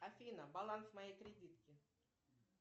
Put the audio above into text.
афина баланс моей кредитки